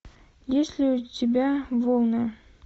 есть ли у тебя волны